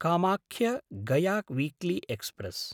कामाख्य–गया weekly express